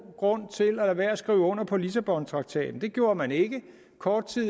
grund til at lade være med at skrive under på lissabontraktaten det gjorde man ikke kort tid